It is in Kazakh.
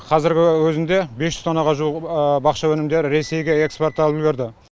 қазіргі өзінде бес жүз тоннаға жуық бақша өнімдері ресейге экспортталып үлгерді